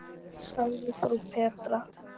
sagði frú Petra.